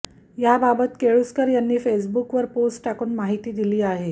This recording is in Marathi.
याबाबत केळुसकर यांनी फेसबुकवर पोस्ट टाकून माहिती दिली आहे